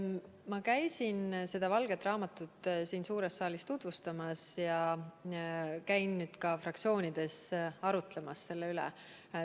Ma käisin seda valget raamatut siin suures saalis tutvustamas ja käin nüüd ka fraktsioonides arutlemas selle üle.